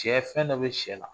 Sɛ fɛn dɔ bɛ sɛ la